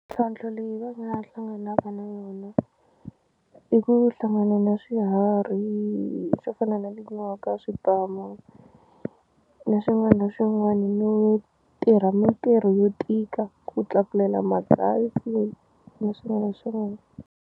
leyi va nga hlanganaka na wona i ku hlangana na swiharhi swo fana na tinyoka swipamu na swin'wana swin'wani no tirha mintirho yo tika ku tlakulela magasi na swin'wana swin'wani.